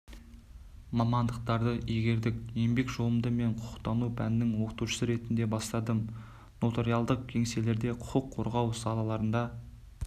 мамандықтарды игердік еңбек жолымды мен құқықтану пәнінің оқытушысы ретінде бастадым нотариалдық кеңселерде құқық қорғау салаларында